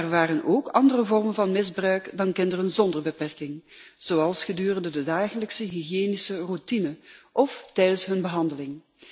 Er waren ook andere vormen van misbruik dan bij kinderen zonder beperking, zoals gedurende de dagelijkse hygiënische routine of tijdens hun behandeling.